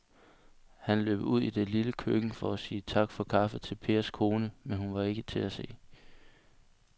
Han løb ud i det lille køkken for at sige tak for kaffe til Pers kone, men hun var ikke til at se.